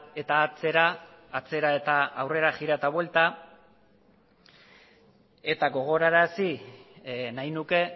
eta atzera atzera eta aurrera jira eta buelta eta gogorarazi nahi nuke